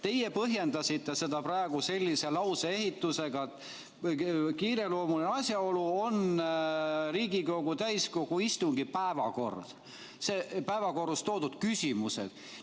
Teie põhjendasite seda praegu sellise lauseehitusega: kiireloomuline asjaolu on Riigikogu täiskogu istungi päevakord, päevakorras toodud küsimused.